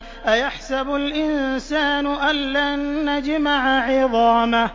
أَيَحْسَبُ الْإِنسَانُ أَلَّن نَّجْمَعَ عِظَامَهُ